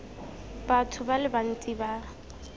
batho ba le bantsi ba